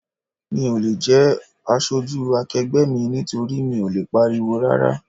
Mi ò le jẹ́ aṣojú akegbe mi nítorí mi ò lè pariwo rárá.